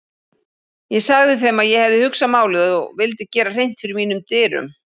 Ég sagði þeim að ég hefði hugsað málið og vildi gera hreint fyrir mínum dyrum.